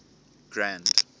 grand